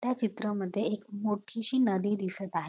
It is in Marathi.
त्या चित्रामध्ये एक मोठीशी नदी दिसत आ --